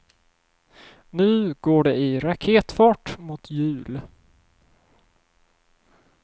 Nu går det i raketfart mot jul.